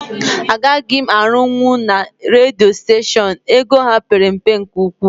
Agaghị m arunwu na redio steshion, ego ha père mpe nke ụkwụ